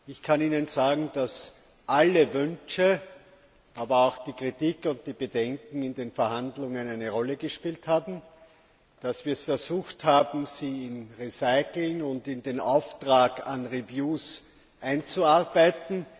Ich kann Ihnen sagen, dass alle Wünsche, aber auch die Kritik und die Bedenken in den Verhandlungen eine Rolle gespielt haben, dass wir versucht haben, sie in Recitals und in den Auftrag an Reviews einzuarbeiten.